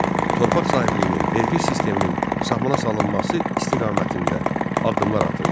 Torpaq sahibliyinin, vergi sisteminin sahmana salınması istiqamətində addımlar atıldı.